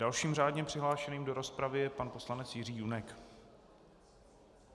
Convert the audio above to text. Dalším řádně přihlášeným do rozpravy je pan poslanec Jiří Junek.